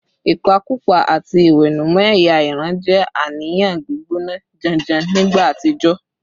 Ìpakúpa àti ìwẹ̀nùmọ́ ẹ̀yà ìran jẹ́ àníyàn gbígbóná janjan nígbà àtijọ́